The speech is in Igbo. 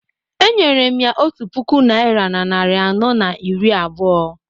Enyere m ya otu puku naira na narị anọ na iri abụọ